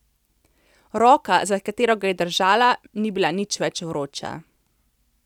Roka, za katero ga je držala, ni bila nič več vroča.